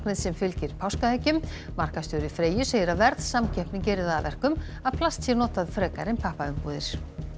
sem fylgir páskaeggjum markaðsstjóri Freyju segir að verðsamkeppni geri það að verkum að plast sé notað frekar en pappaumbúðir